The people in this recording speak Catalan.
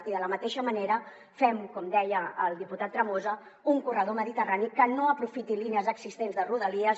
i de la mateixa manera fem com deia el diputat tremosa un corredor mediterrani que no aprofiti línies existents de rodalies